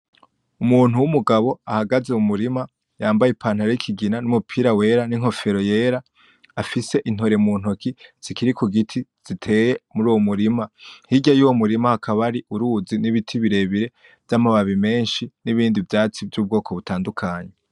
Umuntu w'umugabo ahagaze mu murima yambaye ipantaro y'ikigina numupira wera n'inkofero yera afise intore muntoke zikiri kugiti ziteye muruwo murima hirya y'uwo murima hakaba hari uruzi n'ibiti birebire vy'amababi menshi nibindi vyatsi vy'ubwoko butadukanye.